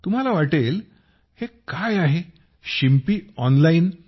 तुम्हाला वाटेल हे काय आहे टेलर ऑनलाईन